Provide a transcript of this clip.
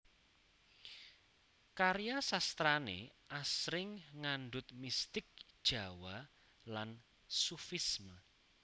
Karya sastrané asring ngandhut mistik Jawa lan sufisme